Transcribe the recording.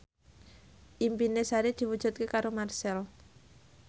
impine Sari diwujudke karo Marchell